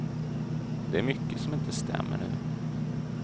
Det är mycket som inte stämmer nu.